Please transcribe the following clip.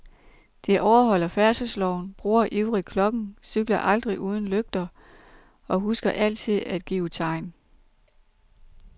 De overholder færdselsloven, bruger ivrigt klokken, cykler aldrig uden lygter og husker altid at give tegn.